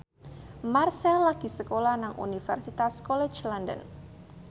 Marchell lagi sekolah nang Universitas College London